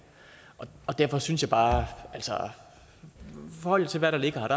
og derfor synes jeg bare i forhold til hvad der ligger her